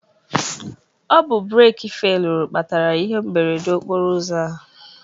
Ọbụ breeki feluru kpatara ihe mberede okporụ ụzọ a